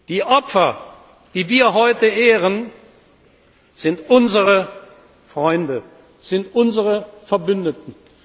Die Opfer, die wir heute ehren, sind unsere Freunde, sind unsere Verbündeten.